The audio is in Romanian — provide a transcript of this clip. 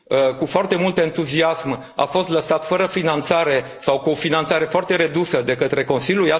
cu foarte mult entuziasm, a fost lăsat fără finanțare sau cu o finanțare foarte redusă de către Consiliu.